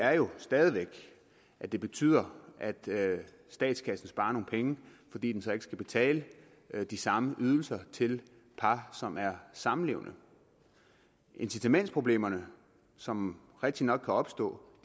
er jo stadig væk at det betyder at statskassen sparer nogle penge fordi den så ikke skal betale de samme ydelser til par som er samlevende incitamentsproblemerne som rigtigt nok kan opstå